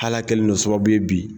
Hal'a kɛlen don sababu ye bi